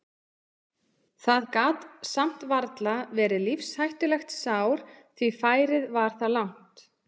Það gat samt varla verið lífshættulegt sár því færið var það langt.